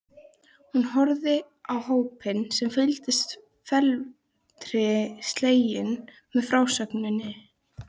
Hún horfði á hópinn sem fylgdist felmtri sleginn með frásögninni.